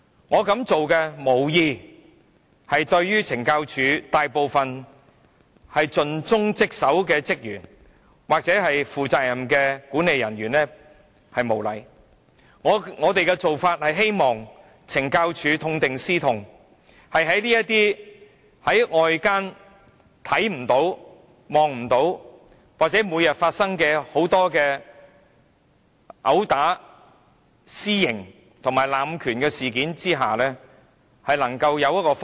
我無意對大部分盡忠職守的懲教署職員或負責任的管理人員無禮，我只是希望懲教署痛定思痛，針對外間看不見、每天在監獄中發生的毆打、濫用私刑和濫權事件，制訂改善方法。